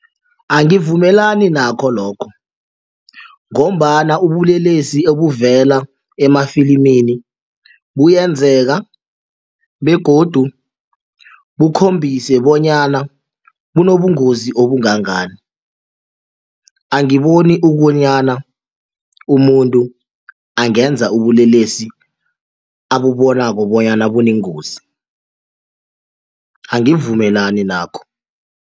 Angivumelani nakho lokho ngombana ubulelesi obuvela emafilimini kuyenzeka begodu kukhombise bonyana kunobungozi obungangani, angiboni ukobonyana umuntu angenza ubulelesi akubonako bonyana bunengozi angivumelani nakho.